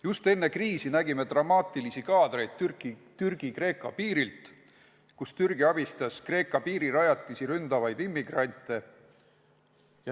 Just enne kriisi nägime dramaatilisi kaadreid Türgi-Kreeka piirilt, kus Türgi abistas Kreeka piirirajatisi ründavaid immigrante.